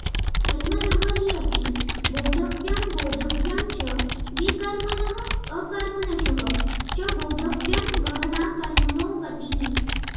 कर्मणः हि अपि बोद्धव्यं बोद्धव्यं च विकर्मणः अकर्मणशः च बोद्धव्यं गहना कर्मणो गतिः